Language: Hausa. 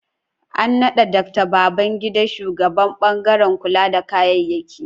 An naɗa Dr. Babangida shugaban ɓangaren kula da kayyaki